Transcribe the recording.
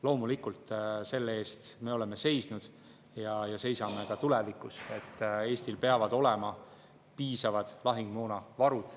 Loomulikult oleme seisnud ja seisame ka tulevikus selle eest, et Eestil peavad olema piisavad lahingumoonavarud.